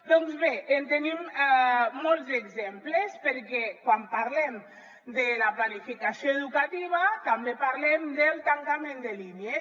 doncs bé en tenim molts exemples perquè quan parlem de la planificació educativa també parlem del tancament de línies